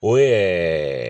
O ɛɛ